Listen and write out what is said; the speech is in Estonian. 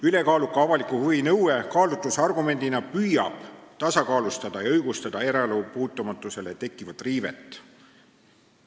Ülekaaluka avaliku huvi nõue kaalutlusargumendina püüab tasakaalustada ja õigustada eraelu puutumatusele tekkivat riivet.